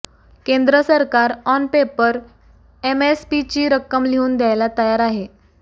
केंद्र सरकार on paper एमएसपीची रक्कम लिहून द्यायला तयार आहे